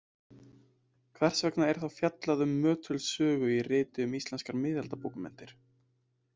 Hvers vegna er þá fjallað um Möttuls sögu í riti um íslenskar miðaldabókmenntir?